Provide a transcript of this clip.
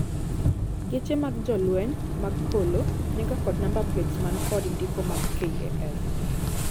Geche mag jolweny mag polo niga kod namba plets man kod ndiko mag KAF